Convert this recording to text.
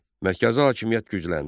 Mərkəzi hakimiyyət gücləndi.